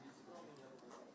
Sən bilirsən ki, sən yəni.